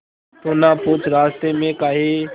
तू ना पूछ रास्तें में काहे